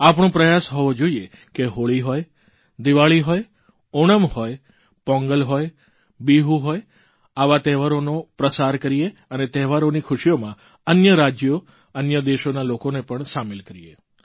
આપણો પ્રયાસ હોવો જોઇએ કે હોળી હોય દીવાળી હોય ઓણમ હોય પોંગલ હોય બીહુ હોય આવા તહેવારોનો પ્રસાર કરીએ અને તહેવારોની ખુશીઓમાં અન્ય રાજયો અન્ય દેશોના લોકોને પણ સામેલ કરીએ